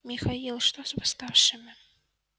михаил а что с восставшими